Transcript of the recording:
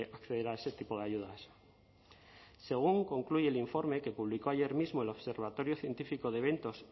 acceder a ese tipo de ayudas según concluye el informe que publicó ayer mismo el observatorio científico de eventos